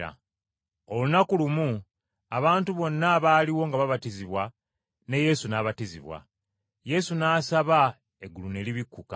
Olunaku lumu, abantu bonna abaaliwo nga babatizibwa, ne Yesu n’abatizibwa. Yesu n’asaba, eggulu ne libikkuka,